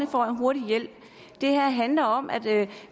får en hurtig hjælp det her handler om at